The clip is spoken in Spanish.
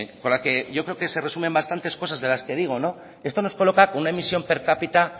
con la que yo creo que se resumen bastantes cosas de las que digo esto nos coloca con una emisión per cápita